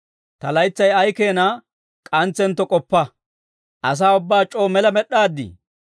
Ta laytsay ay keeshshaa k'antsentto k'oppa; asaa ubbaa c'oo mela med'd'aadii?